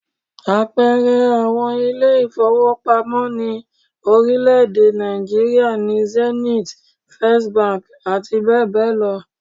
Àpẹẹrẹ àwọn ilé ìfowópamọ́ ní orílẹ̀-èdè Nàìjííríà ni Zenith, First abbl